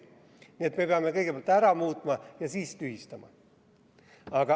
Nii et me peame kõigepealt selle ära muutma ja siis tühistama.